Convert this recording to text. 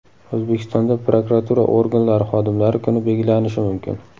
O‘zbekistonda prokuratura organlari xodimlari kuni belgilanishi mumkin.